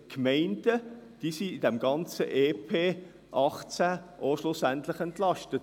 Die Gemeinden wurden innerhalb des EP 2018 schlussendlich entlastet.